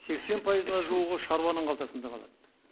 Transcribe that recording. сексен пайызына жуығы шаруаның қалтасында қалады